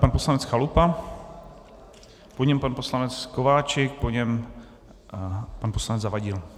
Pan poslanec Chalupa, po něm pan poslanec Kováčik, po něm pan poslanec Zavadil.